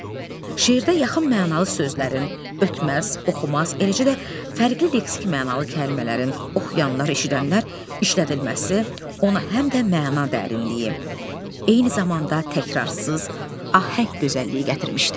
Şeirdə yaxın mənalı sözlərin ötməz, oxumaz, eləcə də fərqli leksik mənalı kəlmələrin oxuyanlar, eşidənlər işlədilməsi ona həm də məna dərinliyi, eyni zamanda təkrarsız ahəng gözəlliyi gətirmişdir.